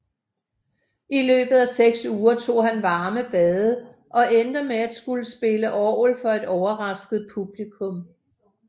I løbet af seks uger tog han varme bade og endte med at kunne spille orgel for et overrasket publikum